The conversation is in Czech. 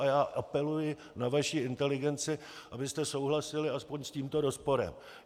A já apeluji na vaši inteligenci, abyste souhlasili alespoň s tímto rozporem.